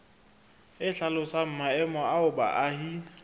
e hlalosang maemo ao baahi